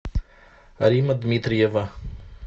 алима дмитриева